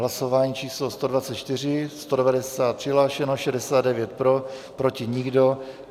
Hlasování číslo 124, 190 přihlášeno, 69 pro, proti nikdo.